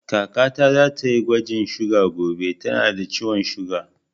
Kaka ta za ta yi gwajin suga gobe, ta na da ciwon suga